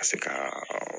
Ka se ka